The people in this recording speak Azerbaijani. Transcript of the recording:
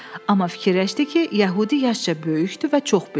Amma fikirləşdi ki, Yəhudi yaşca böyükdür və çox bilir.